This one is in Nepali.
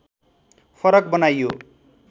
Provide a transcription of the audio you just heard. फरक बनाइयो